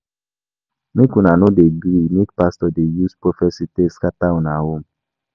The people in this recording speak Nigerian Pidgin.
Make una no dey gree make pastor dey use prophesy take scatter una home